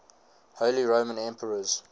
holy roman emperors